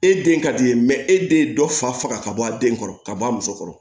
E den ka di ye e den ye dɔ faga ka bɔ a den kɔrɔ ka bɔ a muso kɔrɔ